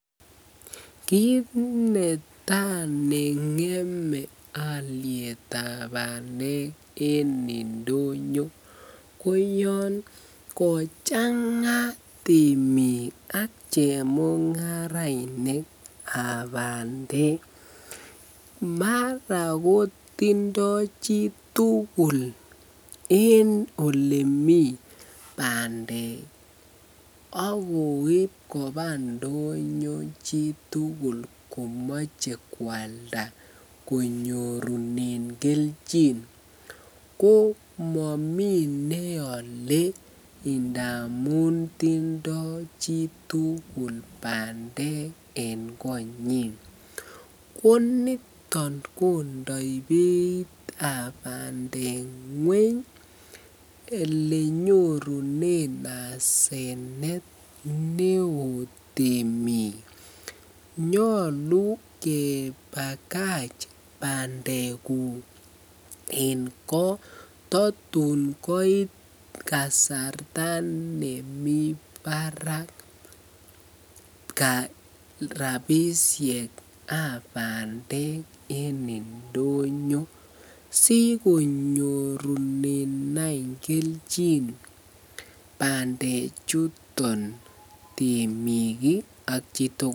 Kiit netaa nengeme olietab bandek en ndonyo ko yoon kochanga temiik ak chemungarainikab bandek, mara kotindo chitukul en olemii bandek akoib kobaa ndonyo chitukul komoche kwalda konyorunen kelchin, ko momi neole ndamun tindo chitukul bandek en konyin, ko niton kondoi beitab bandek ngweny elenyorunen asenet neoo temik, nyolu kebakach bandekuk en koo totun koit kasarta nemii barak rabishekab bandek en ndonyo sikonyorunen any kelchin bande chuton temik ak chitukul.